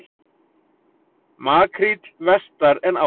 Makríll vestar en áður